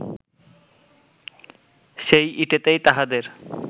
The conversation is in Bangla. সেই ইটেতেই তাহাদের